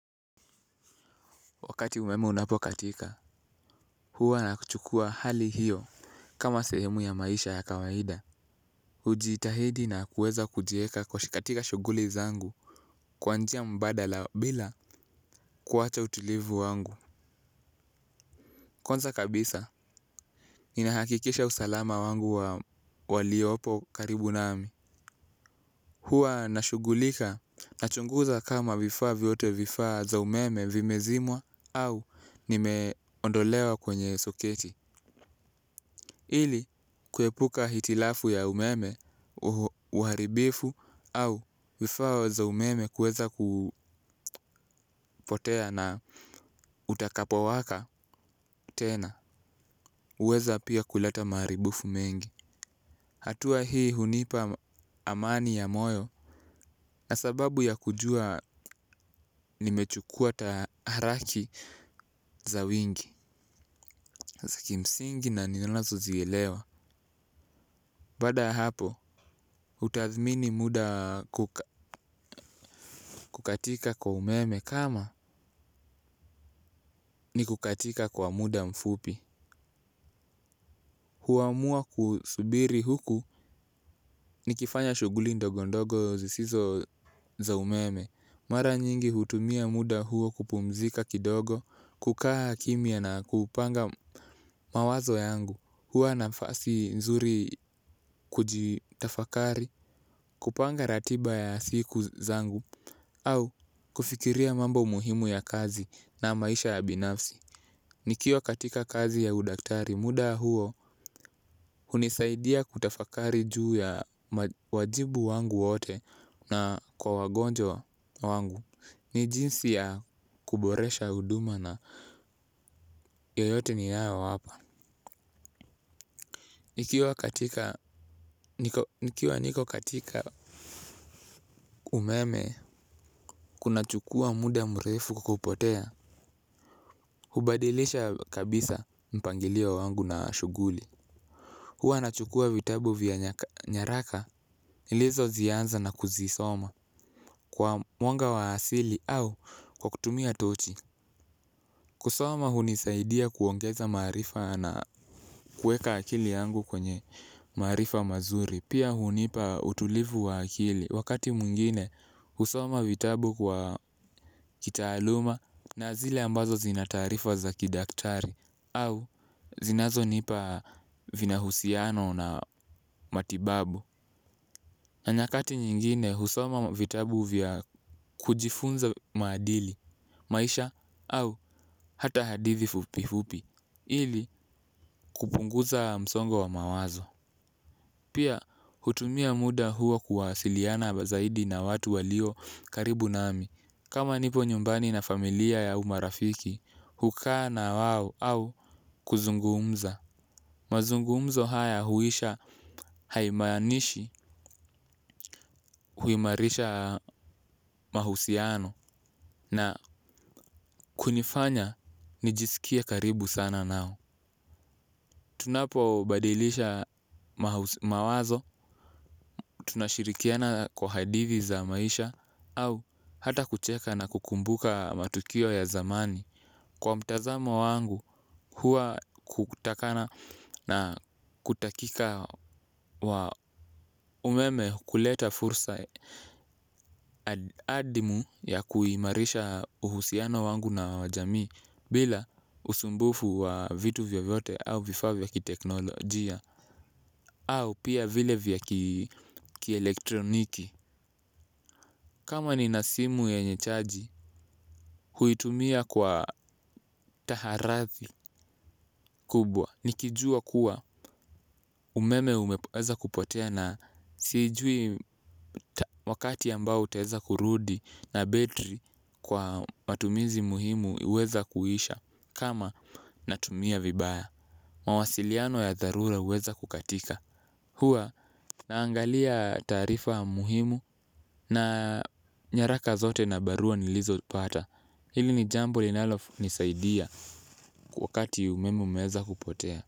Wakati umeme unapokatika, huwa nakuchukua hali hiyo kama sehemu ya maisha ya kawaida. Ujitahidi na kuweza kujieka kwa shi katika shuguli zangu kwanjia mbadala bila kuwacha utulivu wangu. Kwanza kabisa, ninahakikisha usalama wangu wa waliopo karibu nami. Hua nashugulika, nachunguza kama vifaa vyote vifaa za umeme vimezimwa au nimeondolewa kwenye soketi. Ili kuepuka hitilafu ya umeme, uharibifu au vifaa za umeme kuweza kupotea na utakapo waka tena. Uweza pia kuleta maaribufu mengi. Hatua hii hunipa amani ya moyo. Na sababu ya kujua nimechukua taharaki za wingi. Za kimsingi na ninazo zielewa. Baada ya hapo utathmini muda kukatika kwa umeme. Kama ni kukatika kwa muda mfupi huamua kusubiri huku ni kifanya shuguli ndogondogo zisizo za umeme. Mara nyingi hutumia muda huo kupumzika kidogo. Kukaa kimya na kupanga mawazo yangu. Hua na fasi nzuri kujitafakari. Kupanga ratiba ya siku zangu au kufikiria mambo muhimu ya kazi na maisha ya binafsi. Nikiwa katika kazi ya udaktari muda huo hunisaidia kutafakari juu ya wajibu wangu wote na kwa wagonjwa wangu. Ni jinsi ya kuboresha huduma na yoyote ni yao wapa. Nikiwa niko katika umeme kuna chukua muda mrefu kupotea. Hubadilisha kabisa mpangilio wangu na shuguli. Huwa na chukua vitabu vya nyaraka ilizo zianza na kuzisoma kwa mwanga wa asili au kwa kutumia tochi. Kusoma hunisaidia kuongeza maarifa na kueka akili yangu kwenye marifa mazuri. Pia hunipa utulivu wa akili wakati mwingine husoma vitabu kwa kitaaluma na zile ambazo zinataarifa za kidaktari au zinazo nipa vina husiano na matibabu. Na nyakati nyingine husoma vitabu vya kujifunza maadili maisha au hata hadithi fupi fupi ili kupunguza msongo wa mawazo. Pia hutumia muda huo kuwasiliana bazaidi na watu walio karibu nami kama nipo nyumbani na familia au marafiki hukaa na wao au kuzungumza mazungumzo haya huisha haimaanishi huimarisha mahusiano na kunifanya nijiskie karibu sana nao. Tunapo badilisha mawazo, tunashirikiana kwa hadithi za maisha au hata kucheka na kukumbuka matukio ya zamani. Kwa mtazamo wangu hua kutakana na kutakika wa umeme kuleta fursa adimu ya kuhimarisha uhusiano wangu na wa jamii bila usumbufu wa vitu vyo vyote au vifaavya ki teknolojia au pia vile vya ki elektroniki. Kama ni nasimu yenye chaji huitumia kwa taharathi kubwa. Nikijua kuwa umeme umeweza kupotea na siijui wakati ambao utaeza kurudi na betri kwa matumizi muhimu huweza kuhisha. Kama natumia vibaya mawasiliano ya dharura uweza kukatika. Hua naangalia tarifa muhimu na nyaraka zote na barua nilizo pata. Hili ni jambo linalo nisaidia wakati umeme umeweza kupotea.